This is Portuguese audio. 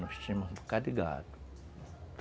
Nós tínhamos um bocado de gado.